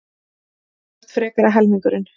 Þú ert frekari helmingurinn.